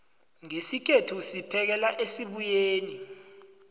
ngesikhethu siphekela esibuyeni